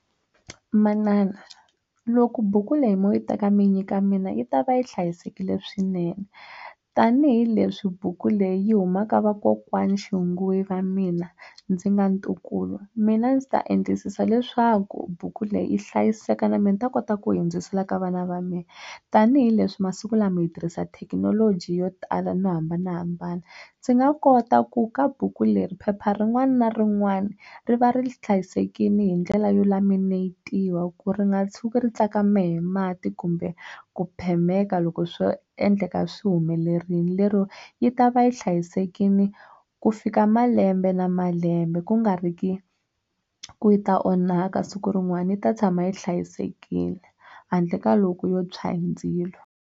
Manana loku buku leyi mo yi teka mi nyika mina yi ta va yi hlayisekile swinene tanihileswi buku leyi yi huma ka vakokwana xinguwe va mina ndzi nga ntukulu mina ndzi ta endlisisa leswaku buku leyi yi hlayiseka na mina ni ta kota ku yi hundzisela ka vana va mina tanihileswi masiku lama hi tirhisa thekinoloji yo tala no hambanahambana ndzi nga kota ku ka buku leri phepha rin'wana na rin'wana ri va ri hlayisekile hi ndlela yo laminate-iwa ku ri nga tshuki ri tsakame hi mati kumbe ku phemeka loko swo endleka swi humelerile lero yi ta va yi hlayisekile ku fika malembe na malembe ku nga ri ki ku yi ta onhaka siku rin'wana yi ta tshama yi hlayisekile handle ka loko yo tswha hi ndzilo.